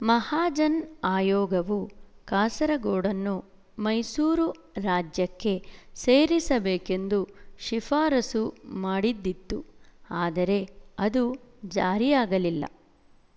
ಮಹಾಜನ್ ಆಯೋಗವು ಕಾಸರಗೋಡನ್ನು ಮೈಸೂರು ರಾಜ್ಯಕ್ಕೆ ಸೇರಿಸಬೇಕೆಂದು ಶಿಫಾರಸು ಮಾಡಿದ್ದಿತು ಆದರೆ ಅದು ಜಾರಿಯಾಗಲಿಲ್ಲ